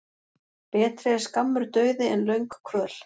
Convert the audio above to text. Betri er skammur dauði en löng kvöl.